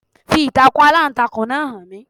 Fi ìtàkùn Aláǹtakùn náà hàn mí.